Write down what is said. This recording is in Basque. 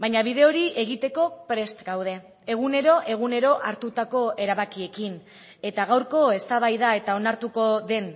baina bide hori egiteko prest gaude egunero egunero hartutako erabakiekin eta gaurko eztabaida eta onartuko den